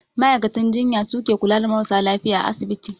Ma'aikatan jinya su ke kula da marasa lafiya a asibiti.